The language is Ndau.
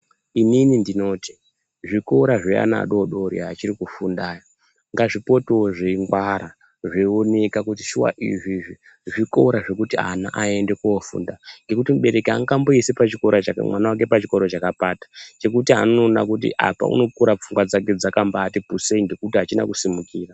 Inini ndinoti zvikora zvevana vadodori vachiri kufunda ava ngazvipotewo zveingwara zveionekwa kuti izvi zvikora zvekuti ana aende kofunda ngekuti mubereki angamboisi mwana wake pachikora chakapata chekuti anokura pfungwa dzake dzakati pusei nekuti achina kusimukira.